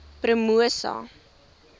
promosa